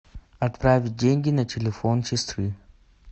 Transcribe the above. отправить деньги на телефон сестры